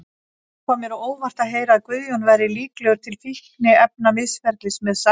Það kom mér á óvart að heyra að Guðjón væri líklegur til fíkniefnamisferlis með Sævari.